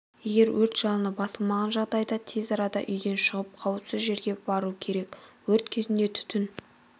егер өрт жалыны басылмаған жағдайда тез арада үйден шығып қауіпсіз жерге бару керек өрт кезінде түтін